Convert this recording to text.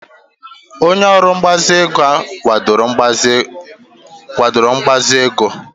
Onye ọrụ mgbazinye ego kwadoro mgbazinye ego